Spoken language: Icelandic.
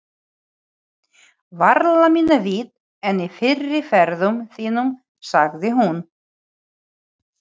Varla minna vit en í fyrri ferðum þínum, sagði hún.